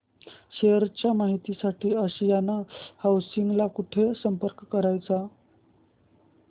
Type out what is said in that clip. share च्या माहिती साठी आशियाना हाऊसिंग ला कुठे संपर्क करायचा